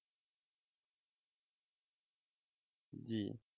জি